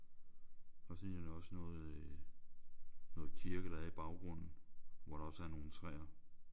Og så ligner det også noget øh noget kirke der er i baggrunden hvor der også er nogle træer